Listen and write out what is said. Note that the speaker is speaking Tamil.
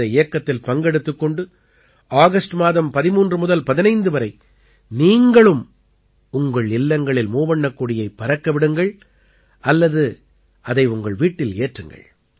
இந்த இயக்கத்தில் பங்கெடுத்துக் கொண்டு ஆகஸ்ட் மாதம் 13 முதல் 15 வரை நீங்களும் உங்கள் இல்லங்களில் மூவண்ணக் கொடியைப் பறக்க விடுங்கள் அல்லது அதை உங்கள் வீட்டில் ஏற்றுங்கள்